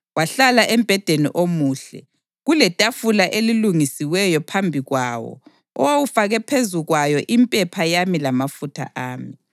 Wahlala embhedeni omuhle, kuletafula elilungisiweyo phambi kwawo owawufake phezu kwayo impepha yami lamafutha ami.